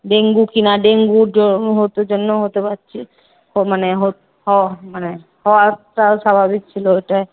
Dengue কিনা? ডেঙ্গুর জন্য জন্য হতে পারছে মানে মানে হওয়াটাও স্বাভাবিক ছিল।